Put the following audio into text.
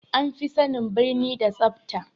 An fi sanin birni da tsafa